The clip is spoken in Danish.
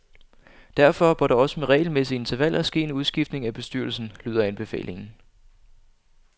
Derfor bør der også med regelmæssige intervaller ske en udskiftning af bestyrelsen, lyder anbefalingen.